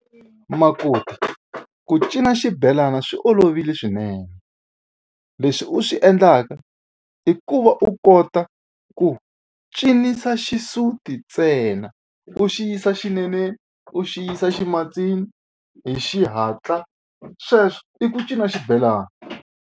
Makoti ku cina xibelana swi olovile swinene leswi u swi endlaka i ku va u kota ku cinisa xisuti ntsena u xi yisa xineneni u xi yisa ximatsini hi xihatla sweswo i ku cina xibelana.